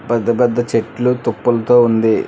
పెద్దపెద్ద చెట్లు తుప్పలతో ఉంది.